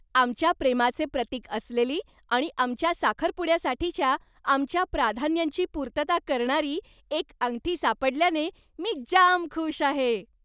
आमच्या प्रेमाचे प्रतीक असलेली आणि आमच्या साखरपुड्यासाठीच्या आमच्या प्राधान्यांची पूर्तता करणारी एक अंगठी सापडल्याने मी जाम खुश आहे.